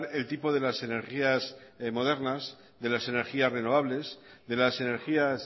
el tipo de las energías modernas de las energías renovables de las energías